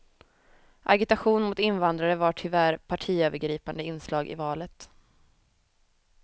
Agitation mot invandrare var tyvärr partiövergripande inslag i valet.